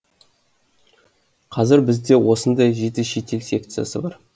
қазір бізде осындай жеті шетел секциясы бар